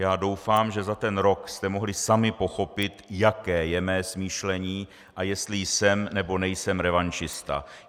Já doufám, že za ten rok jste mohli sami pochopit, jaké je mé smýšlení a jestli jsem, nebo nejsem revanšista.